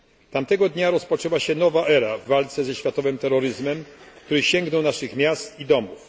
Tamtego dnia rozpoczęła się nowa era w walce ze światowym terroryzmem, który sięgnął naszych miast i domów.